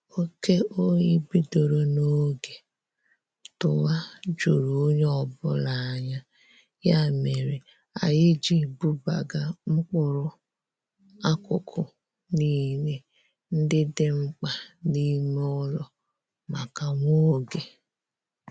Oke oyi bidoro n'oge tụwa juru onye ọbụla anya, ya mere anyị ji bubaga mkpụrụ akụkụ niile ndị dị mkpa n'ime ụlọ maka nwa oge